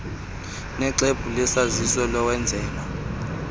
noxwebhu lwesazisi lowenzelwa